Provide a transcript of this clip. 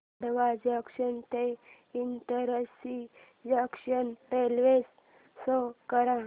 Khandwa junction ते Itarsi junction railway show कर